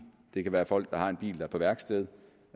det kan være folk der har en bil der er på værksted